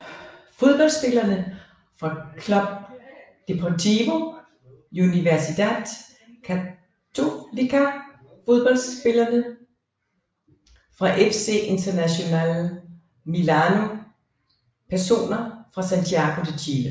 Fodboldspillere fra Club Deportivo Universidad Católica Fodboldspillere fra FC Internazionale Milano Personer fra Santiago de Chile